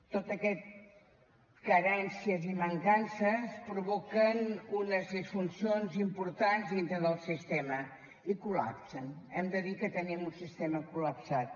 totes aquestes carències i mancances provoquen unes disfuncions importants dintre del sistema i col·lapsen hem de dir que tenim un sistema col·lapsat